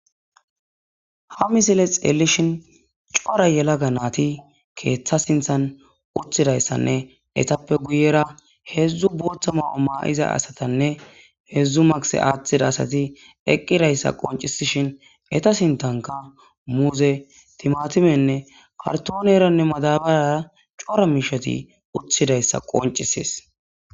Ha misile xelishin coora yalaga nayiti utidayisanee etape guyera hezu botha mayo mayida asatanee hezu masike athidayisati eqizaysa qonicises eta sinithanka muze timatimenee karitone madabarara coora mishet de'oga beses